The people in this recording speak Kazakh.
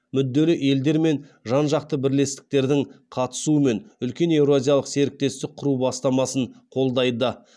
мүдделі елдер мен жан жақты бірлестіктердің қатысуымен үлкен еуразиялық серіктестік құру бастамасын қолдайды